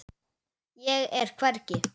Ég er hvergi.